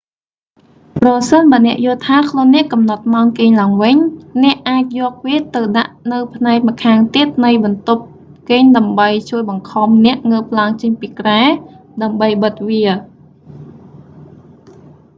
ប្រសិនបើអ្នកយល់ថា ខ្លួនអ្នកកំណត់ម៉ោងគេងឡើងវិញ អ្នកអាចយកវាទៅដាក់នៅផ្នែកម្ខាងទៀតនៃបន្ទប់គេដើម្បីជួយបង្ខំអ្នកងើបឡើងចេញពីគ្រែ ដើម្បីបិទវា